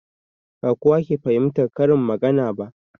Ba kowa ke fahimtan karin magana ba